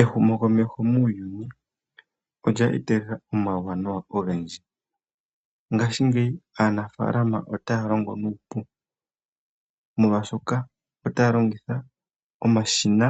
Ehumo komeho muuyuni olya etelela omauwanawa ogendji. Ngashi ngeyi aanafalama otaya longo nuupu molwashoka otaya longitha omashina